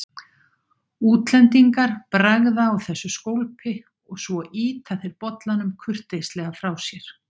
Útlendingar bragða á þessu skólpi og svo ýta þeir bollanum kurteislega frá sér.